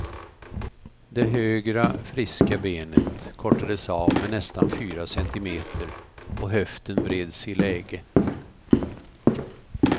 Det högra, friska benet kortades av med nästan fyra centimeter och höften vreds i läge.